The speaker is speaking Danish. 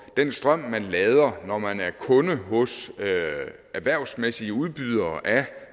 den strøm man lader når man er kunde hos erhvervsmæssige udbydere af